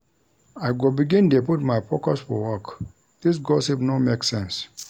I go begin dey put my focus for work, dis gossip no make sense.